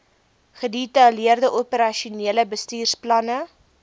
gedetaileerde operasionele bestuursplanne